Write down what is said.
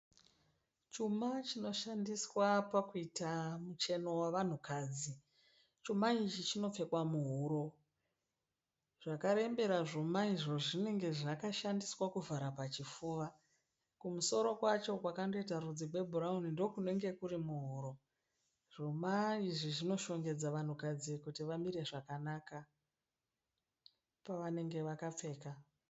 Chuma chinoshandiswa pakuita mucheno wavanhu kadzi. Chuma ichi chinopfekwa muhuro. Zvakarembera zvuma izvo zvinenge zvakashandiswa kuvhara pachipfuva. Kumusoro kwacho kwakandoita rudzi rwe bhurauni ndokunenge kuri muhuro. Zvuma izvi zvinoshongedza vanhu kadzi kuti vamire zvakanaka pavanenge vakapfeka.